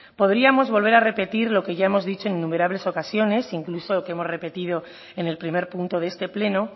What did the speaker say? podríamos volver a repetir lo que ya hemos dicho en innumerables ocasiones incluso que hemos repetido en el primer punto de este pleno